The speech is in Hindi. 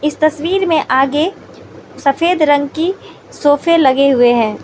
इस तस्वीर मे आगे सफेद रंग की सोफे लगे हुए हैं।